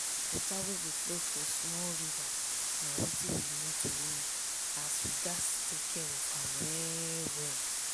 water wey dey flow for small river na wetin we need to live so we gats take care am well well.